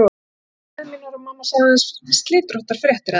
Ég spurði um bræður mína og mamma sagðist aðeins fá slitróttar fréttir af þeim.